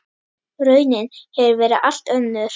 Raunin hefur verið allt önnur.